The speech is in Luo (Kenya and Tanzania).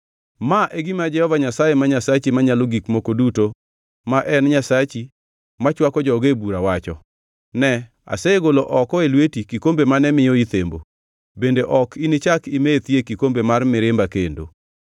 Ma e gima Jehova Nyasaye ma Nyasachi Manyalo Gik Moko Duto, ma en Nyasachi machwako joge e bura wacho, Ne, asegolo oko e lweti kikombe mane miyo ithembo, bende ok inichak imethi e kikombe mar mirimba kendo.